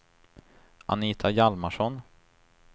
Anita Hjalmarsson